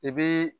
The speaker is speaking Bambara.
I bi